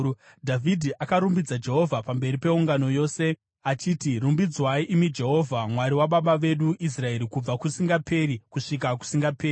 Dhavhidhi akarumbidza Jehovha pamberi peungano yose achiti, “Rumbidzwai imi Jehovha, Mwari wababa vedu Israeri, kubva kusingaperi kusvika kusingaperi.